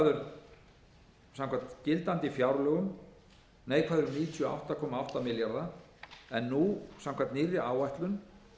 áætlaður samkvæmt gildandi fjárlögum neikvæður um níutíu og átta komma átta milljarða króna en nú samkvæmt nýrri áætlun